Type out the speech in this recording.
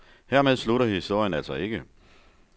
Hermed slutter historien altså ikke.